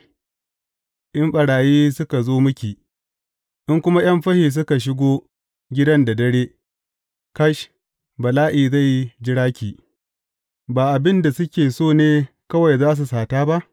In ɓarayi suka zo miki, in kuma ’yan fashi suka shigo gidan da dare, kash, bala’i zai jira ki ba abin da suke so ne kawai za su sata ba?